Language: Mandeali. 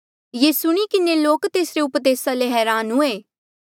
ये सुणी किन्हें लोक तेसरे उपदेसा ले हरान हुए